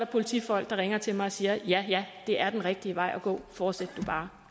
politifolk der ringer til mig og siger ja ja det er den rigtige vej at gå fortsæt du bare